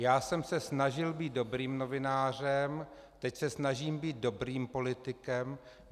Já jsem se snažil být dobrým novinářem, teď se snažím být dobrým politikem.